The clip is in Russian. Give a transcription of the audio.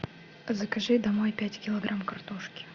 закажи домой пять килограмм картошки